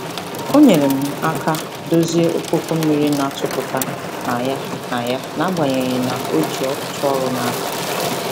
O nyere m aka dozie okpoko mmiri na-atụpụta na ya na ya n'agbanyeghị na o ji ọtụtụ ọrụ n'aka.